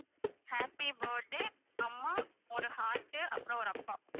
happy birthday அம்மா ஒரு heart உ அப்பறம் ஒரு அப்பா